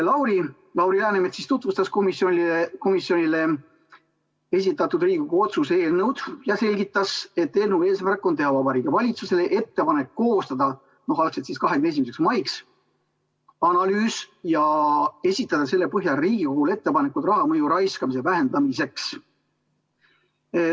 Lauri Läänemets tutvustas komisjonile esitatud Riigikogu otsuse eelnõu ja selgitas, et eelnõu eesmärk on teha Vabariigi Valitsusele ettepanek koostada 21. maiks analüüs ja esitada selle põhjal Riigikogule ettepanekud raha mõju ja raiskamise vähendamiseks.